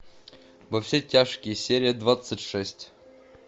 во все тяжкие серия двадцать шесть